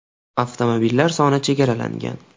Avtomobillar soni chegaralangan.